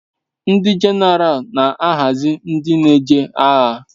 Ndi jeneral na ahazi ndi n'eje agha